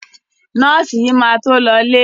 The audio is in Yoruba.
Nọ́ọ̀sì yìí máa to lọọ́lé.